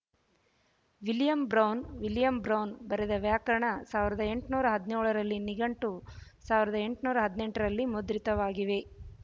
William Brown William Brown ಬರೆದ ವ್ಯಾಕರಣ ಸಾವಿರದ ಎಂಟುನೂರ ಹದಿನ್ಯೋಳರಲ್ಲಿ ನಿಘಂಟು ಸಾವಿರದ ಎಂಟುನೂರ ಹದಿನೆಂಟರಲ್ಲಿ ಮುದ್ರಿತವಾಗಿವೆ